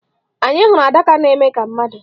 Anyị hụrụ adaka na-eme ka mmadụ.